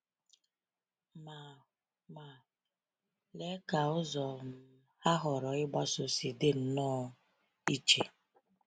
Ma Ma, lee ka ụzọ um ha họọrọ ịgbaso si dị nnọọ iche!